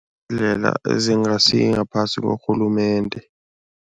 Ezingasingaphasi korhulumende.